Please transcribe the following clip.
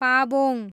Pabong